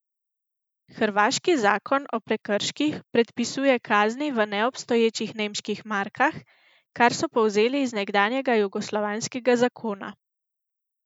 Hrvaški zakon o prekrških predpisuje kazni v neobstoječih nemških markah, kar so povzeli iz nekdanjega jugoslovanskega zakona.